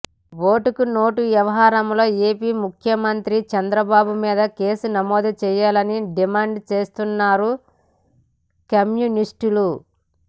ఓటుకు నోటు వ్యవహారంలో ఏపీ ముఖ్యమంత్రి చంద్రబాబు మీద కేసు నమోదు చేయాలని డిమాండ్ చేస్తున్నారు కమ్యూనిస్టులు